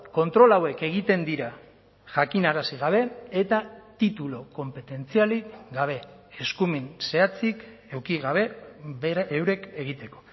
kontrol hauek egiten dira jakinarazi gabe eta titulu konpetentzialik gabe eskumen zehatzik eduki gabe eurek egiteko